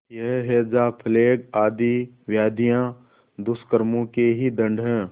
यह हैजाप्लेग आदि व्याधियाँ दुष्कर्मों के ही दंड हैं